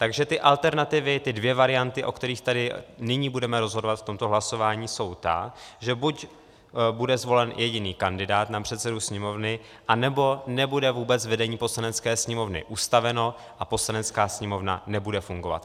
Takže ty alternativy, ty dvě varianty, o kterých tady nyní budeme rozhodovat v tomto hlasování, jsou ty, že buď bude zvolen jediný kandidát na předsedu Sněmovny, anebo nebude vůbec vedení Poslanecké sněmovny ustaveno a Poslanecká sněmovna nebude fungovat.